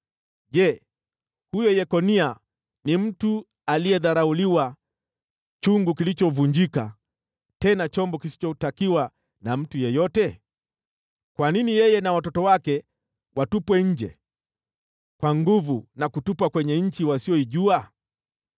Je, huyu mtu Yekonia ni chungu kilichodharauliwa, chungu kilichovunjika, chombo kisichotakiwa na mtu yeyote? Kwa nini yeye na watoto wake watupwe nje kwa nguvu, na kutupwa kwenye nchi wasioijua?